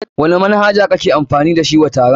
Wani manhaja kake amfani da shi wa taron?